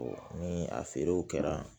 ni a feerew kɛra